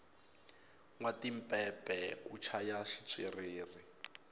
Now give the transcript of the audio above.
nwa tipepe u chaya xitswiriri